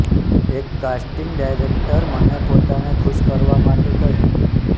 એક casting director મને પોતાને ખુશ કરવા માટે કહ્યું